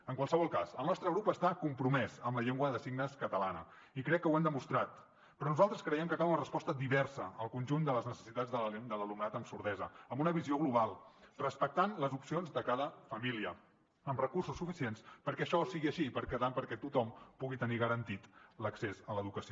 en qualsevol cas el nostre grup està compromès amb la llengua de signes catalana i crec que ho hem demostrat però nosaltres creiem que cal una resposta diversa al conjunt de les necessitats de l’alumnat amb sordesa amb una visió global respectant les opcions de cada família amb recursos suficients perquè això sigui així i també perquè tothom pugui tenir garantit l’accés a l’educació